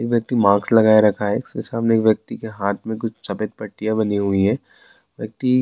ایک ویکتی ماسک لگا رکھا ہے اس کے سامنے ایک ویکتی کے ہاتھ میں کچھ سفید پٹیاں بندی ہیں -ویکتی